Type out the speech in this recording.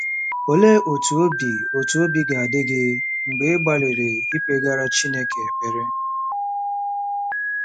Olee otú obi otú obi ga-adị gị mgbe ị gbalịrị ikpegara Chineke ekpere?